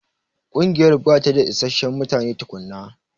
Ƙungiyar bata da isasshen mutane tukunna.